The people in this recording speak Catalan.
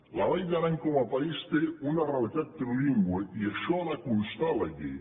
la vall d’aran com a país té una realitat trilingüe i això ha de constar a la llei